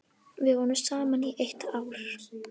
Við vorum saman í eitt ár.